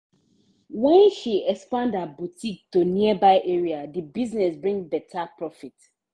when she expand her boutique to nearby area the business bring better profit.